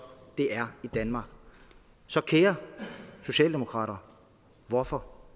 det er i danmark så kære socialdemokrater hvorfor